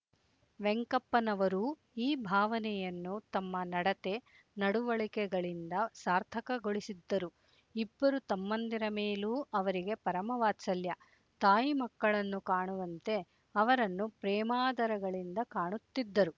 ವೆಂಕಪ್ಪನವರೂ ಈ ಭಾವನೆಯನ್ನು ತಮ್ಮ ನಡತೆ ನಡವಳಿಕೆಗಳಿಂದ ಸಾರ್ಥಕಗೊಳಿಸಿದ್ದರು ಇಬ್ಬರು ತಮ್ಮಂದಿರ ಮೇಲೂ ಅವರಿಗೆ ಪರಮವಾತ್ಸಲ್ಯ ತಾಯಿ ಮಕ್ಕಳನ್ನು ಕಾಣುವಂತೆ ಅವರನ್ನು ಪ್ರೇಮಾದರಗಳಿಂದ ಕಾಣುತ್ತಿದ್ದರು